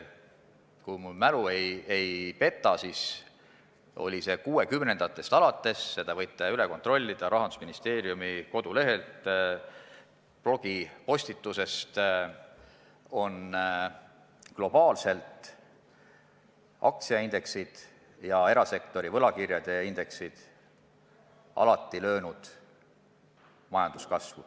Kui mälu mind ei peta, siis 1960-ndatest alates – selle võite Rahandusministeeriumi kodulehelt, blogipostitusest üle kontrollida – on globaalselt aktsiaindeksid ja erasektori võlakirjade indeksid majanduskasvu alati löönud.